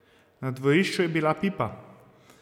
Na dvorišču je bila pipa.